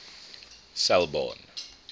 selborne